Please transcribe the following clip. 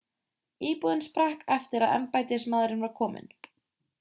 íbúðin sprakk eftir að embættismaðurinn var kominn